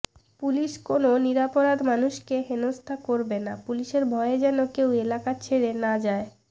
police কোনও নিরপরাধ মানুষকে হেনস্থা করবে না পুলিশের ভয়ে যেন কেউ এলাকা ছেড়ে না যায়